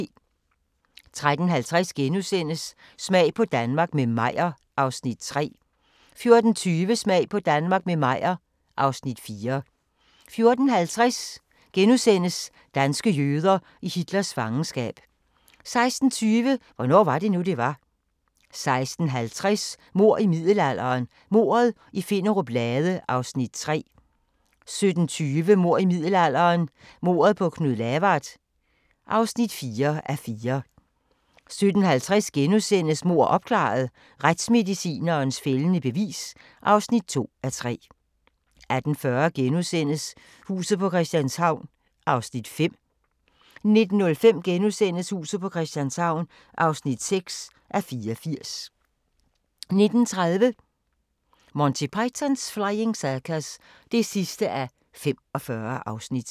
13:50: Smag på Danmark – med Meyer (Afs. 3)* 14:20: Smag på Danmark – med Meyer (Afs. 4) 14:50: Danske jøder i Hitlers fangenskab * 16:20: Hvornår var det nu, det var? 16:50: Mord i middelalderen – Mordet i Finnerup Lade (3:4) 17:20: Mord i middelalderen – mordet på Knud Lavard (4:4) 17:50: Mord opklaret – Retsmedicinens fældende bevis (2:3)* 18:40: Huset på Christianshavn (5:84)* 19:05: Huset på Christianshavn (6:84)* 19:30: Monty Python's Flying Circus (45:45)